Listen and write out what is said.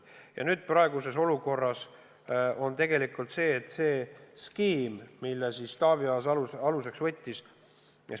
Ja praeguses olukorras selle skeemi Taavi Aas aluseks võttiski.